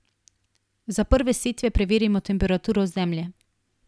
Za prve setve preverimo temperaturo zemlje.